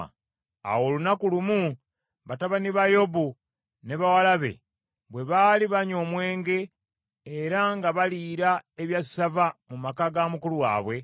Awo olunaku lumu, batabani ba Yobu ne bawala be bwe baali banywa omwenge era nga baliira ebyassava mu maka ga mukulu waabwe,